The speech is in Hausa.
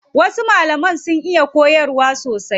Wasu malaman sun iya koyarwa sosai.